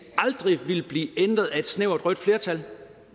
aldrig ville blive ændret af et snævert rødt flertal